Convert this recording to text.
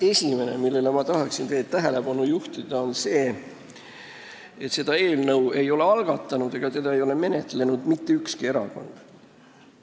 Esimene asi, millele ma tahan teie tähelepanu juhtida, on see, et seda eelnõu ei ole algatanud ega menetlenud mitte ükski erakond.